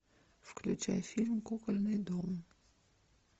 включай фильм кукольный дом